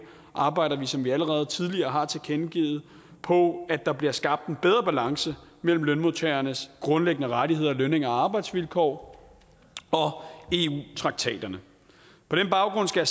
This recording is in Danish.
arbejder vi som vi allerede tidligere har tilkendegivet på at der bliver skabt en bedre balance mellem lønmodtagernes grundlæggende rettigheder lønninger og arbejdsvilkår og eu traktaterne på den baggrund skal